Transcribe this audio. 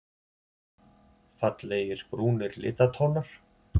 Fallegir brúnir litatónar.